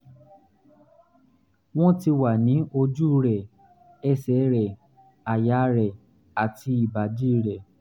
wọ́n ti wà ní ojú rẹ̀ ẹsẹ̀ rẹ̀ àyà rẹ̀ àti ìbàdí rẹ̀